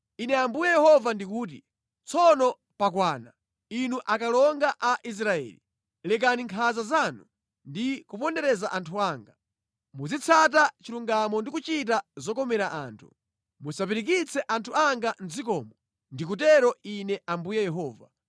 “ ‘Ine Ambuye Yehova ndikuti: Tsono pakwana, inu akalonga a Israeli. Lekani nkhanza zanu ndi kupondereza anthu anga. Muzitsata chilungamo ndi kuchita zokomera anthu. Musapirikitse anthu anga mʼdzikomo. Ndikutero Ine Ambuye Yehova.